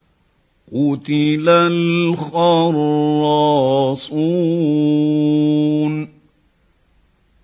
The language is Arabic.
قُتِلَ الْخَرَّاصُونَ